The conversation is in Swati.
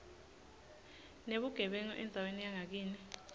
nebugebengu endzaweni yangakini